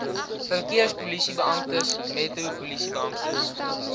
verkeerspolisiebeamptes metro polisiebeamptes